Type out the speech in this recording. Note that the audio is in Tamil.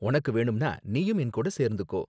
உனக்கு வேணும்னா நீயும் என் கூட சேர்ந்துக்கோ.